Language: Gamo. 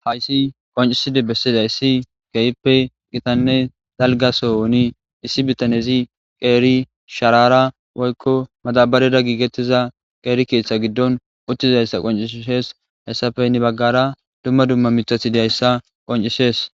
Hayssi qonccisidi bessizayssi keehippe gitanne dalgga sohoni issi bitanezi qeeri sharaara woykko madabbarera giigetiza qeeri keetha giddon uttizayssa qonccisees. Hessappe hini baggaara mithti dizayssa qonccisees